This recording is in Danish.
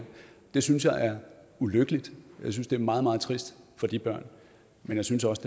det synes jeg er ulykkeligt jeg synes det er meget meget trist for de børn men jeg synes også